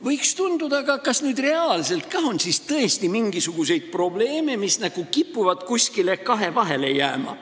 Võiks tekkida küsimus, aga kas reaalselt on ka mingisuguseid probleeme, mis kipuvad nagu kuskile kahevahele jääma.